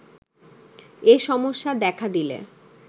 এ সমস্যা দেখা দিলে